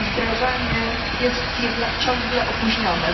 Jej wdrażanie jest jednak ciągle opóźnione.